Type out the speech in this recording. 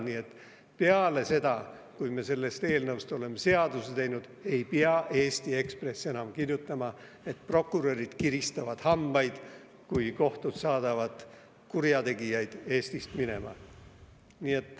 Nii et pärast seda, kui me sellest eelnõust oleme seaduse teinud, ei pea Eesti Ekspress enam kirjutama, et prokurörid kiristavad hambaid, kui kohtud saadavad kurjategijaid Eestist minema.